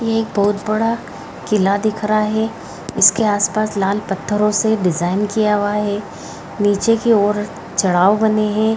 ये एक बहुत बड़ा किला दिख रहा है इसके आसपास लाल पत्थरों से डिजाइन किया हुआ है नीचे की ओर चढ़ाव बने हैं।